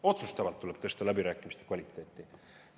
Otsustavalt tuleb tõsta läbirääkimiste kvaliteeti.